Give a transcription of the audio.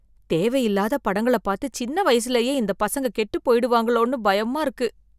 தேவை இல்லாத படங்களை பாத்து சின்ன வயசுலயே இந்த பசங்க கெட்டு போயிடுவாங்களோனு பயமா இருக்கு